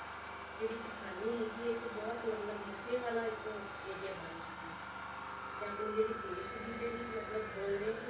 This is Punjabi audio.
ਜਿਹੜੀ ਕਿਸਾਨੀ ਹੈਗੀ ਹੈ ਇੱਕ ਬਹੁਤ ਮਤਲਬ ਨਫ਼ੇ ਵਾਲਾ ਇੱਕ area ਬਣ ਚੁੱਕੀ ਹੈ, ਤੇ ਆਪਣੀ ਜਿਹੜੀ ਦੇਸ ਦੀ ਜਿਹੜੀ ਮਤਲਬ ਬੋਲ ਰਹੇ ਹੈ ਕਿ